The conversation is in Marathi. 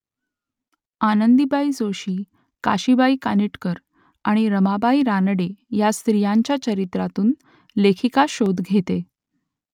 आनंदीबाई जोशी काशीबाई कानिटकर आणि रमाबाई रानडे या स्त्रियांच्या चरित्रांतून लेखिका शोध घेते